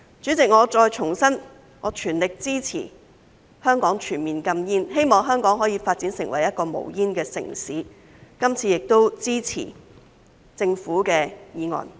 主席，我重申，我全力支持香港全面禁煙，希望香港可以發展成一個無煙城市，今次也支持政府的《條例草案》。